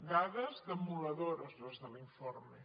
dades demolidores les de l’informe